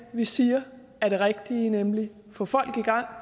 vi siger er det rigtige nemlig at få folk i gang og